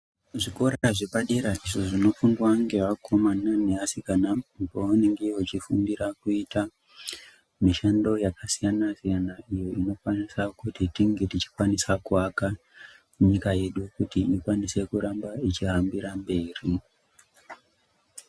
Zvikora zvepadera ndizvo zvinofundiwa nevakomana nevasikana pavanenge veifundira kuita mushando yakasiyana siyana iyo inokwanisa kunge tinge tichikwanisa kuaka nyika yedu kuti irambe yeiangira mberi.